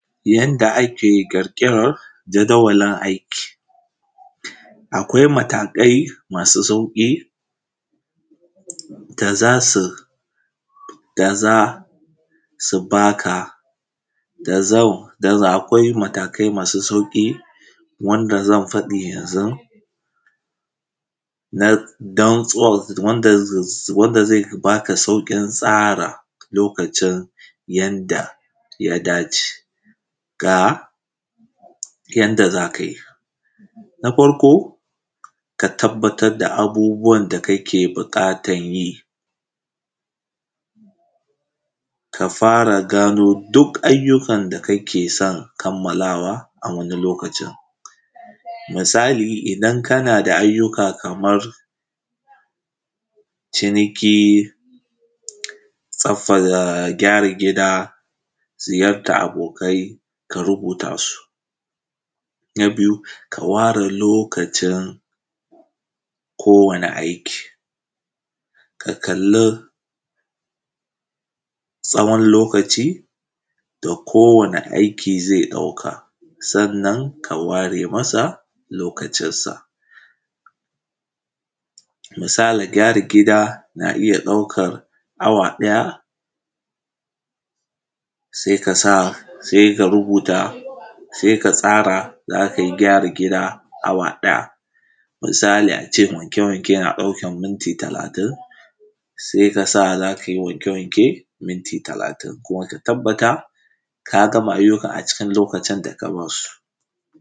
Yadda ake ƙirƙiran jadawalin aiki. Akwai matakai masu sauƙi da za su da za su baka da zan akwai matakai masu sauƙi wanda zan b aka yanzun don zuwan wanda zan faɗi yanzun, don wanda ze bada sauƙin tsara lokacin yanda ya dace. Ga yanda za ka yi, na farko ka tabbatar da abubuwan da ka yi yake buƙatan yi ka fara gano duk ayyuakan da kake son kammalawa, a wani lokacin misali idan kana da ayyuka kaman ciniki, gyaran gida, ziyartan abokai ka rubutasu. Na biyu, ka ware lokacin kowane aiki, ka kalli tsawon lokaci da kowane aiki ze ɗauka sa’an nan ka ware masa lokacin sa. Misali gyara gida ze iya ɗaukan awa ɗaya, se kasa se ka rubuta, se ka tsara za ka yi gyara gida awa ɗaya, misali a ce wanke-wanke na ɗaukan minti talatin, se ka sa za ka yi wanke- wanke minti talatin to ka tabbata ka gama a cikin lokacin da ka musu.